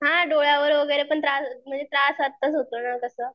हा डोळ्यावर वगैरे पण त्रास हो म्हणजे त्रास आत्ताच होतो ना तसा.